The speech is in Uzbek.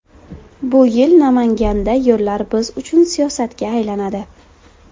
Bu yil Namanganda yo‘llar biz uchun siyosatga aylanadi.